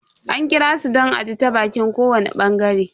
An kirasu don a ji ta baƙin kowani bangare.